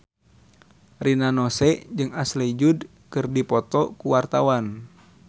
Rina Nose jeung Ashley Judd keur dipoto ku wartawan